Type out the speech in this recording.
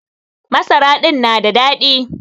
Masara din na da daɗi.